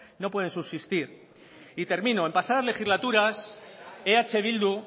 no pueden subsistir y termino en pasadas legislaturas eh bildu